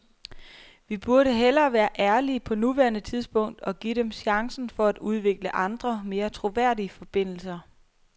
Vi burde hellere være ærlige på nuværende tidspunkt og give dem chancen for at udvikle andre, mere troværdige forbindelser.